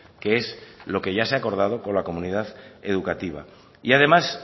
que es lo que ya se ha acordado con la comunidad educativa y además